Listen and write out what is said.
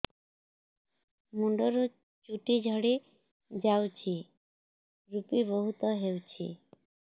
ମୁଣ୍ଡରୁ ଚୁଟି ଝଡି ଯାଉଛି ଋପି ବହୁତ ହେଉଛି